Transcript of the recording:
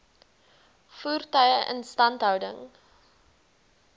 voertuie instandhouding